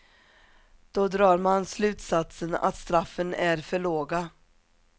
Då drar man slutsatsen att straffen är för låga.